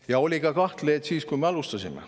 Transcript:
Kahtlejaid oli ka siis, kui me alustasime.